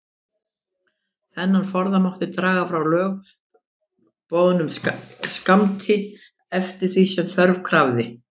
Þennan forða mátti draga frá lögboðnum skammti, eftir því sem þörf krafði.